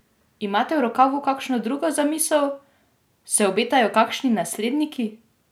Imate v rokavu kakšno drugo zamisel, se obetajo kakšni nasledniki?